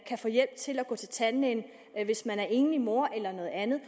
få hjælp til at gå til tandlægen hvis man er enlig mor eller noget andet